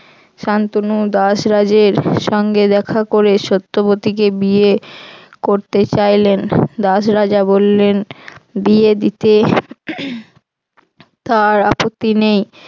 শান্তনু দাসরাজের সঙ্গে দেখা করে সত্যবতীকে বিয়ে করতে চাইলেন দাসরাজা বললেন বিয়ে দিতে তার আপত্তি নেই।